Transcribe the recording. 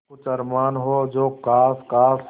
कुछ अरमान हो जो ख़ास ख़ास